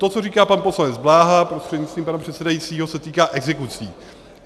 To, co říká pan poslanec Bláha prostřednictvím pana předsedajícího, se týká exekucí.